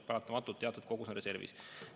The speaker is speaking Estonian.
Paratamatult teatud kogus on reservis.